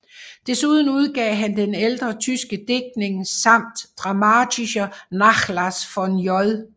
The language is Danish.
Desuden udgav han ældre tyske digtninge samt Dramatischer Nachlass von J